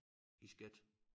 I skat